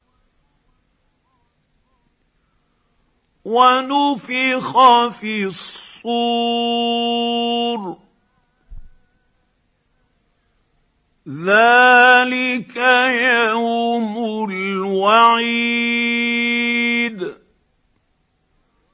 وَنُفِخَ فِي الصُّورِ ۚ ذَٰلِكَ يَوْمُ الْوَعِيدِ